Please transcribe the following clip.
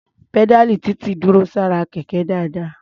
Pẹ́dáàlì Títí dúró sára Kẹ̀kẹ́ dáadáa.